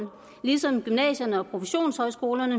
ligesom gymnasierne og professionshøjskolerne